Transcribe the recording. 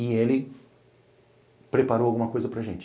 E Ele preparou alguma coisa para gente.